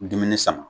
Dumuni sama